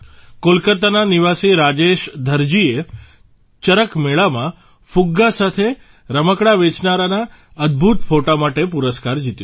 કોલકાતાના નિવાસી રાજેશ ધરજીએ ચરક મેળામાં ફુગ્ગા અને રમકડાં વેચનારાના અદભૂત ફોટા માટે પુરસ્કાર જીત્યો